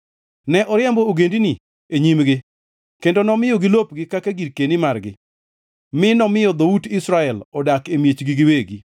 Ne oriembo ogendini e nyimgi kendo nomiyogi lopgi kaka girkeni margi, mi nomiyo dhout Israel odak e miechgi giwegi.